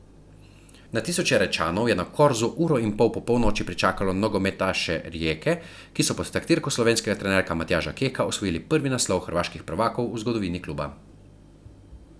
Na tisoče Rečanov je na Korzu uro in pol po polnoči pričakalo nogometaše Rijeke, ki so pod taktirko slovenskega trenerja Matjaža Keka osvojili prvi naslov hrvaških prvakov v zgodovini kluba.